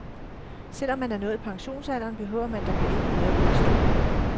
Selv om man er nået pensionsalderen, behøver man da på ingen måde at gå i stå.